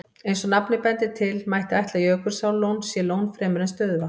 Eins og nafnið bendir til, mætti ætla að Jökulsárlón sé lón fremur en stöðuvatn.